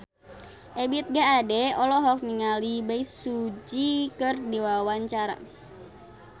Ebith G. Ade olohok ningali Bae Su Ji keur diwawancara